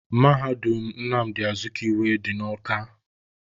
Mahadum Nnamdị Azikiwe dị na Awka